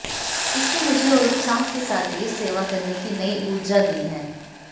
इसने मुझे और उत्साह के साथ देश सेवा करने की नयी ऊर्जा दी है